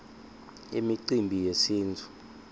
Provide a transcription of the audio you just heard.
imicimbi yesintfu